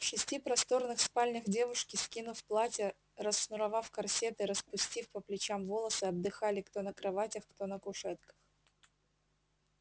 в шести просторных спальнях девушки скинув платья расшнуровав корсеты распустив по плечам волосы отдыхали кто на кроватях кто на кушетках